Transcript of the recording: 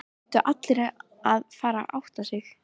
Það hlutu allir að fara að átta sig.